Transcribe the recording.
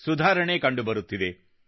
ಸುಧಾರಣೆ ಕಂಡುಬರುತ್ತಿದೆ